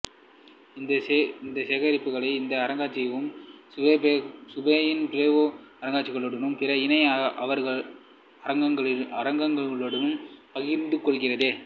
இதன் சேகரிப்புக்களை இந்த அருங்காட்சியகம் இசுப்பெயினின் பில்பாவோ அருங்கட்சியகத்துடனும் பிற இணை அருங்காட்சியகங்களுடனும் பகிர்ந்துகொள்கிறது